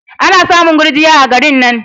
Ana samun gurjiya a garin nan.